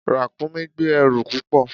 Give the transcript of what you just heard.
Ràkúnmí gbé ẹrù púpọ̀.